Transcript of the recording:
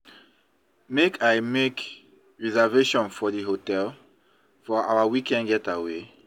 Make I make reservation for di hotel for our weekend getaway?